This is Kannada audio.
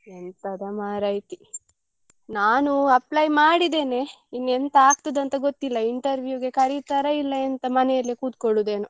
ಎಂತದ ಮಾರೈತಿ, ನಾನು apply ಮಾಡಿದ್ದೇನೆ ಇನ್ ಎಂತ ಆಗ್ತದೆ ಅಂತ ಗೊತ್ತಿಲ್ಲ interview ಗೆ ಕರೀತಾರ ಇಲ್ಲ ಎಂತ ಮನೇಲೆ ಕುತ್ಕೊಳ್ಳುದೇನೋ.